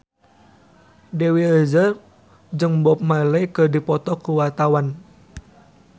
Dewi Rezer jeung Bob Marley keur dipoto ku wartawan